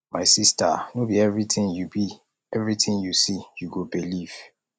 my sister no be everything you be everything you see you go believe